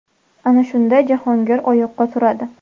Ana shunda Jahongir oyoqqa turadi.